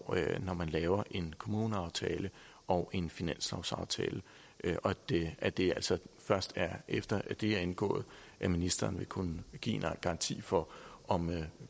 når man laver en kommuneaftale og en finanslovsaftale og at det altså først er efter at de er indgået at ministeren vil kunne give en garanti for om